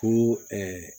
Ko